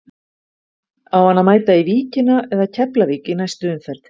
Á hann að mæta í Víkina eða Keflavík í næstu umferð?